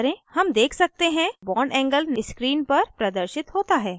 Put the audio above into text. हम देख सकते हैं bondangle screen पर प्रदर्शित होता है